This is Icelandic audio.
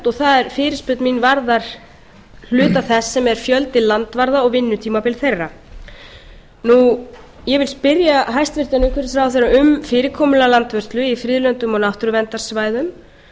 og fyrirspurn mín varðar hluta þess sem er fjöldi landvarða og vinnutímabil þeirra ég vil spyrja hæstvirtur umhverfisráðherra um fyrirkomulag landvörslu í friðlöndum og á náttúruverndarsvæðum